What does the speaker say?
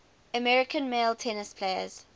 american male tennis players